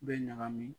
Bɛ ɲagami